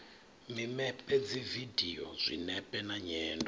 mimepe dzividio zwinepe na nyendo